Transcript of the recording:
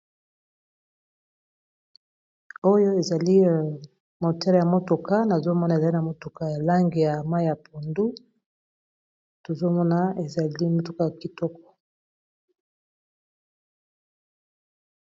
Oyo ezali motele ya motuka na zomona ezali na motuka a lange ya ma ya pundu, tozomona ezali motuka kitoko